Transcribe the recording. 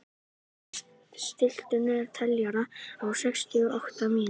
Kaía, stilltu niðurteljara á sextíu og átta mínútur.